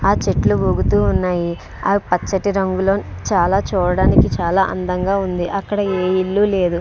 ఆ చెట్లు ఊగుతూ ఉన్నాయి. అవి పచ్చని రంగులో చాలా చూడటానికి చాలా అందంగా ఉంది. అక్కడ ఏ ఇల్లు లేదు --